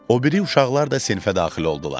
O biri uşaqlar da sinifə daxil oldular.